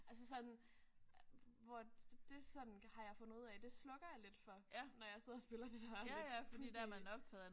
Altså sådan hvor det det sådan har jeg fundet ud af det slukker jeg lidt for når jeg sidder og spiller det der lidt pudsige